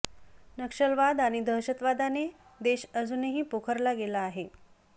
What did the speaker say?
नक्षलवाद आणि दहशतवादाने देश अजूनही पोखरला गेला आहे